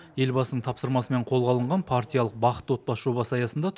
елбасының тапсырмасымен қолға алынған партиялық бақытты отбасы жобасы аясында